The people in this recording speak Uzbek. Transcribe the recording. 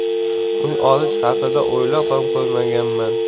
Uy olish haqida o‘ylab ham ko‘rmaganman.